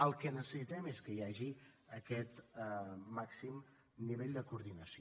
el que necessitem és que hi hagi aquest màxim nivell de coordinació